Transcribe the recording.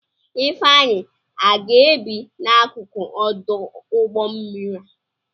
Ifeanyi aga-ebi n'akụkụ ọdụ ụgbọ mmiri a?